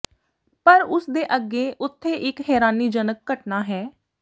ਪਰ ਉਸ ਦੇ ਅੱਗੇ ਉੱਥੇ ਇੱਕ ਹੈਰਾਨੀਜਨਕ ਘਟਨਾ ਹੈ